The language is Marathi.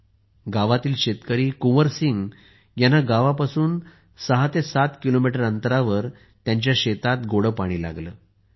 दरम्यान गावातील शेतकरी कुंवर सिंग यांना गावापासून 67 किमी अंतरावरील त्यांच्या शेतात गोडे पाणी लागले